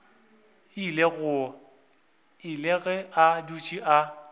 ile ge a dutše a